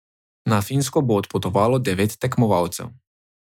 Na Finsko bo odpotovalo devet tekmovalcev.